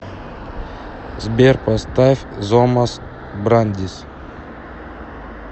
сбер поставь зомас брандис